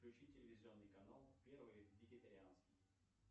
включи телевизионный канал первый вегетарианский